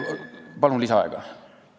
Palun lisaaega!